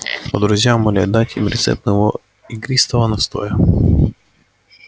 а друзья умоляют дать им рецепт моего игристого настоя